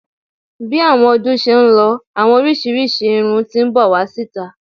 Bi àwọn ọdún ṣe ń lọ, àwọn oríṣiríṣi irún ti n bọ wá síta.